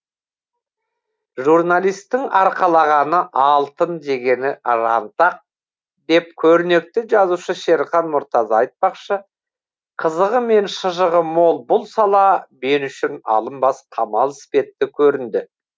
журналистің арқалағаны алтын жегені жантақ деп көрнекті жазушы шерхан мұртаза айтпақшы қызығы мен шыжығы мол бұл сала мен үшін алынбас қамал іспетті көрінді